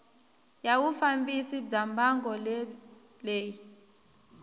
ya vufambisi bya mbangu leyi